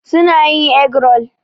Su na yin egg rol.